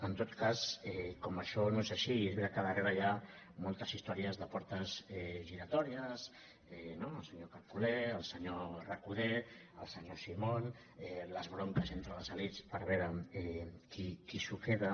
en tot cas com que això no és així i és veritat que al darrere hi ha moltes històries de portes giratòries no el senyor carcolé el senyor recoder el senyor simón les bronques entre les elits per veure qui s’ho queda